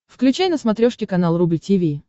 включай на смотрешке канал рубль ти ви